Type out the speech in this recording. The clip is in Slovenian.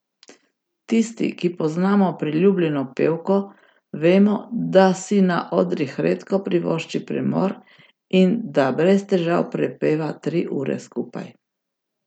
Tisti, ki poznamo priljubljeno pevko, vemo, da si na odrih redko privošči premor in da brez težav prepeva tri ure skupaj.